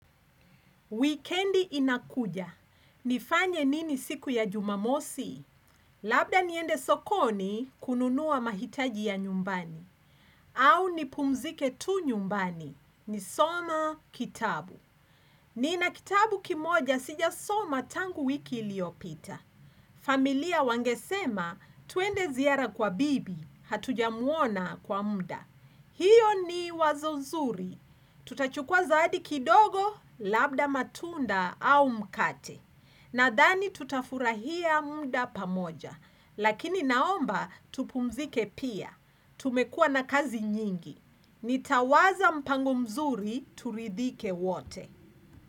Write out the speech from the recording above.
Wikendi inakuja. Nifanye nini siku ya Jumamosi? Labda niende sokoni kununua mahitaji ya nyumbani. Au nipumzike tu nyumbani. Nisome kitabu. Nina kitabu kimoja sijasoma tangu wiki iliyopita. Familia wangesema, twende ziara kwa bibi, hatujamuona kwa muda. Hiyo ni wazo nzuri. Tutachukua zawadi kidogo, labda matunda au mkate. Nadhani tutafurahia muda pamoja. Lakini naomba, tupumzike pia. Tumekua na kazi nyingi. Nitawaza mpango mzuri, turidhike wote.